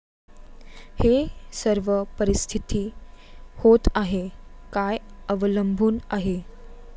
हे सर्व परिस्थिती होत आहे काय अवलंबून आहे.